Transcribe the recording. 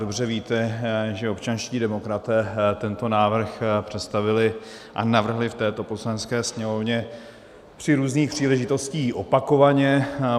Dobře víte, že občanští demokraté tento návrh představili a navrhli v této Poslanecké sněmovně při různých příležitostech opakovaně.